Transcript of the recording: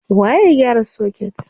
Waye ya gyara soket?